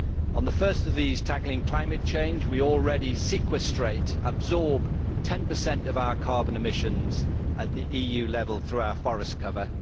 On the first of these, tackling climate change, we already sequestrate absorb 10 of our carbon emissions at the EU level through our forest cover.